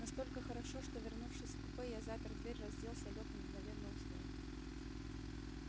настолько хорошо что вернувшись в купе я запер дверь разделся лёг и мгновенно уснул